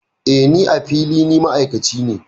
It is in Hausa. Eh, Ni, a fili, ni ma'aikaci ne.